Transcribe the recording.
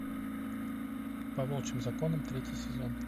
по волчьим законам третий сезон